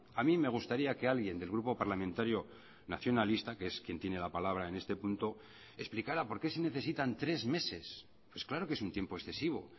a mí me gustaría que alguien del grupo parlamentario nacionalista que es quien tiene la palabra en este punto explicara por qué se necesitan tres meses pues claro que es un tiempo excesivo